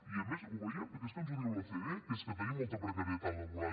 i a més ho veiem perquè és que ens ho diu l’ocde que és que tenim molta precarietat laboral